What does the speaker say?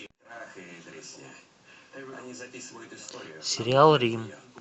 сериал рим